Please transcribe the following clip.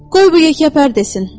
Qoy bu yekəpər desin.